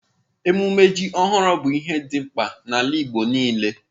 Emume ji ohuru bu ihe di mkpa n'ala igbo nile.